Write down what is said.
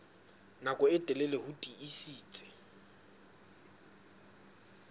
nako e telele ho tiisitse